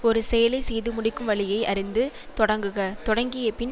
ஒரு செயலை செய்து முடிக்கும் வழியை அறிந்து தொடங்குக தொடங்கியபின்